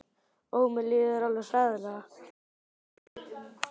Ó, ó, mér líður alveg hræðilega.